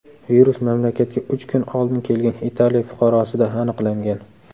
Virus mamlakatga uch kun oldin kelgan Italiya fuqarosida aniqlangan.